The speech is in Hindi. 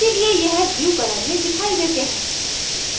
इसीलिए यह blue color में दिखाई देते हैं